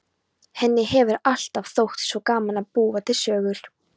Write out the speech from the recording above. Henni hefur alltaf þótt svo gaman að búa til sögur.